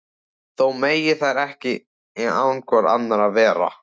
Þó mega þær ekki án hvor annarrar vera.